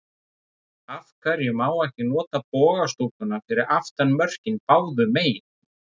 Af hverju má ekki nota boga stúkuna fyrir aftan mörkin báðu megin?